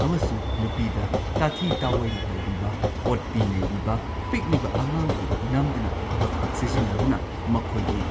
ꯑꯃꯁꯨꯡ ꯅꯨꯄꯤꯗ ꯇꯥꯊꯤ ꯇꯥꯑꯣꯏꯅ ꯇꯧꯕꯤꯕ, ꯑꯣꯠꯄꯤ ꯅꯩꯕꯤꯕ, ꯄꯤꯛꯂꯤꯕ ꯑꯉꯥꯡꯕꯨ ꯅꯝꯗꯨꯅ ꯊꯕꯛ ꯁꯤꯖꯤꯟꯅꯗꯨꯅ ꯃꯈꯣꯏꯒꯤ